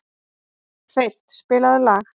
Hreinn, spilaðu lag.